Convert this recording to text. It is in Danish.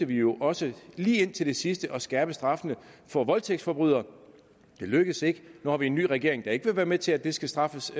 vi jo også lige til det sidste forsøgte at skærpe straffene for voldtægtsforbrydelser det lykkedes ikke nu har vi en ny regering der ikke vil være med til at det skal straffes